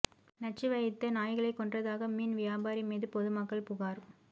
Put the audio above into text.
நச்சு வைத்து நாய்களைக் கொன்றதாக மீன் வியாபாரி மீது பொதுமக்கள் புகார்